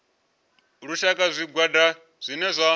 lushaka na zwigwada zwine zwa